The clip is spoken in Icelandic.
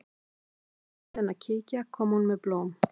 Í hvert sinn sem ég bauð henni að kíkja kom hún með blóm.